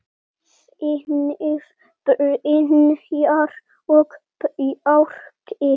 Synir: Brynjar og Bjarki.